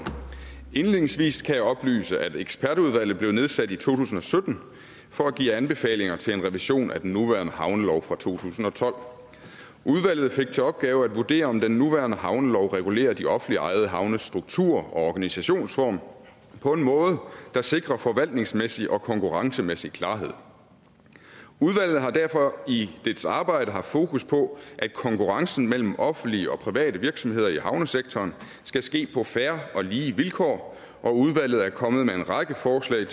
indledningsvis kan jeg oplyse at ekspertudvalget blev nedsat i to tusind og sytten for at give anbefalinger til en revision af den nuværende havnelov fra to tusind og tolv udvalget fik til opgave at vurdere om den nuværende havnelov regulerer de offentligt ejede havnes struktur og organisationsform på en måde der sikrer forvaltningsmæssig og konkurrencemæssig klarhed udvalget har derfor i dets arbejde haft fokus på at konkurrencen mellem offentlige og private virksomheder i havnesektoren skal ske på fair og lige vilkår og udvalget er kommet med en række forslag